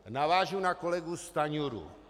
Navážu na kolegu Stanjuru.